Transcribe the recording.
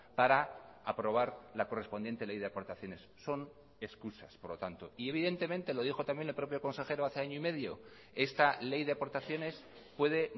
para aprobar la correspondiente ley de aportaciones son excusas por lo tanto y evidentemente lo dijo también el propio consejero hace año y medio esta ley de aportaciones puede